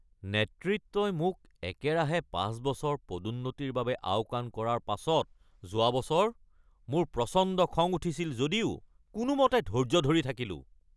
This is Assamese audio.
নেতৃত্বই মোক একেৰাহে ৫ বছৰ পদোন্নতিৰ বাবে আওকাণ কৰাৰ পাছত যোৱা বছৰ মোৰ প্ৰচণ্ড খং উঠিছিল যদিও কোনোমতে ধৈৰ্য ধৰি থাকিলোঁ। (কৰ্মচাৰী ১)